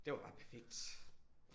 Det var bare perfekt